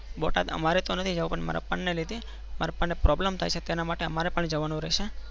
બોટાદ અમરે તો નથી જવું પણ અમારા પપ્પા ના લીધે મારા પપ્પા ને problem થાય છે. તેના માટે અમારે પણ જવાનું રહેશે.